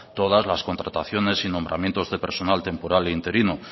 todas las contrataciones y nombramientos de personal temporal e interino